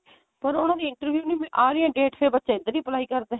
ਪਰ ਉਹਨਾ ਦੀ interview ਦੀ ਨਹੀ ਆ ਰਹੀ date ਫੇਰ ਬੱਚੇ ਇੱਧਰ ਵੀ apply ਕਰਦੇ